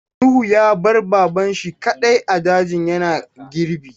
Nuhu ya bar Baba shi kaɗai a daji yana girbi.